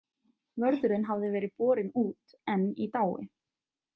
Vörðurinn hafði verið borinn út, enn í dái.